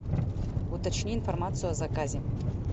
уточни информацию о заказе